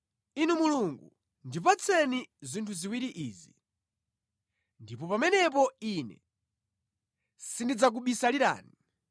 “Inu Mulungu, ndipatseni zinthu ziwiri izi, ndipo pamenepo ine sindidzakubisalirani: